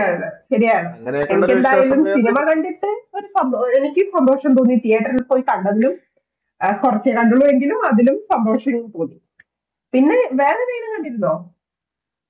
ശരിയാണ് എനിക്ക് എന്തായാലും cinema കണ്ടിട്ട് ഒരു എനിക്ക് സന്തോഷം തോന്നി theater ൽ പോയി കണ്ടതിലും കുറച്ച് കണ്ടുള്ളൂ എങ്കിലും അതിലും സന്തോഷം തോന്നി പിന്നെ വേറെ ഏതെങ്കിലും കണ്ടിരുന്നോ